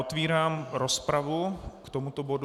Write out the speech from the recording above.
Otevírám rozpravu k tomuto bodu.